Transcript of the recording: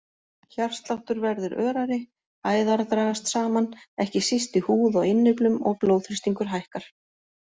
Hjartsláttur verður örari, æðar dragast saman, ekki síst í húð og innyflum og blóðþrýstingur hækkar.